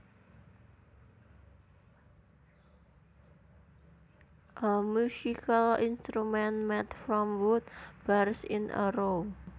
A musical instrument made from wood bars in a row